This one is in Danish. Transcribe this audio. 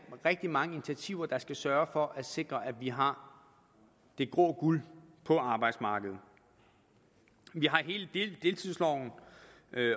rigtig mange initiativer der skal sørge for at sikre at vi har det grå guld på arbejdsmarkedet vi har hele deltidsloven